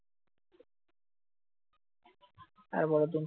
আরে বাবা তুমি